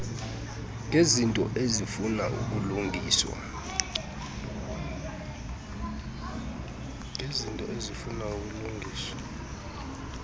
ngezinto ezifuna ukulungiswa